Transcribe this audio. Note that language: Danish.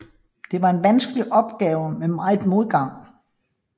Det var en vanskelig opgave med meget modgang